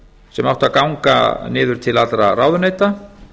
sem átti að ganga niður til allra ráðuneyta